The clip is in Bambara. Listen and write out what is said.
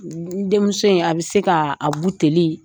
N denmuso in a bɛ se k'a a buteli